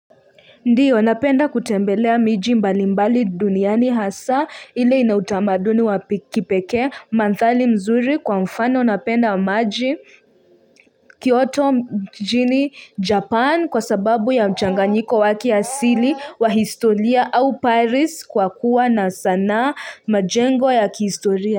Ndiyo napenda kutembelea miji mbalimbali duniani hasa ile ina utamaduni wa kipekee manthari mzuri kwa mfano napenda maji kioto mjini japan kwa sababu ya mchanganyiko wa kiasili wa historia au paris kwa kuwa na sanaa majengo ya kihistoria.